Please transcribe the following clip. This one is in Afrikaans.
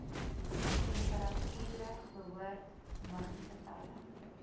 temperature behoort muggiegetalle